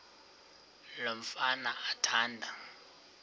lo mfana athanda